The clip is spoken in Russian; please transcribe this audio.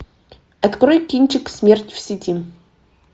открой кинчик смерть в сети